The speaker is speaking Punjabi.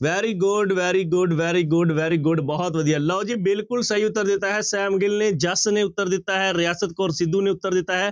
Very good, very good, very good, very good ਬਹੁਤ ਵਧੀਆ ਲਓ ਜੀ ਬਿਲਕੁਲ ਸਹੀ ਉੱਤਰ ਦਿੱਤਾ ਹੈ ਸੈਮ ਗਿੱਲ ਨੇ ਜਸ ਨੇ ਉੱਤਰ ਦਿੱਤਾ ਹੈ, ਰਿਆਸਤ ਕੌਰ ਸਿੱਧੂ ਨੇ ਉੱਤਰ ਦਿੱਤਾ ਹੈ